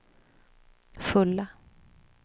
fulla